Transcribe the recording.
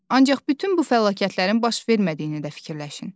Ancaq bütün bu fəlakətlərin baş vermədiyini də fikirləşin.